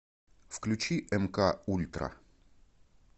включи мк ультра